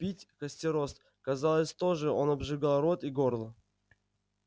пить костерост казалось тоже он обжигал рот и горло